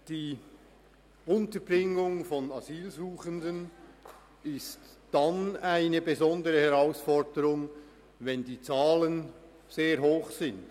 Die Unterbringung von Asylsuchenden ist dann eine besondere Herausforderung, wenn die Zahlen sehr hoch sind.